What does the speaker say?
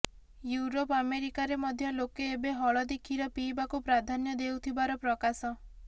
Europe ଆମେରିକାରେ ମଧ୍ୟ ଲୋକେ ଏବେ ହଳଦୀ ଖିର ପିଇବାକୁ ପ୍ରାଧାନ୍ୟ ଦେଉଥିବାର ପ୍ରକାଶ